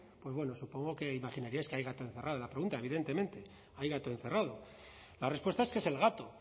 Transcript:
pues bueno supongo que imaginaríais que hay gato encerrado en la pregunta evidentemente hay gato encerrado la respuesta es que es el gato